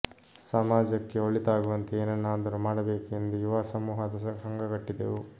ಸಮಾಜಕ್ಕೆ ಒಳಿತಾಗುವಂತೆ ಏನನ್ನಾದರೂ ಮಾಡಬೇಕು ಎಂದು ಯುವ ಸಮೂಹದ ಸಂಘ ಕಟ್ಟಿದೆವು